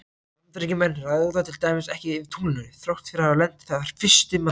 Bandaríkjamenn ráða til dæmis ekki yfir tunglinu þrátt fyrir að hafa lent þar fyrstir manna.